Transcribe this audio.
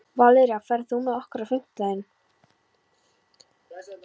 Valería, ferð þú með okkur á fimmtudaginn?